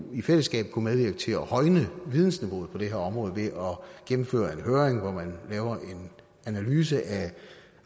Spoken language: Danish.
i fællesskab kunne medvirke til at højne vidensniveauet på det her område ved at gennemføre en høring hvor man laver en analyse af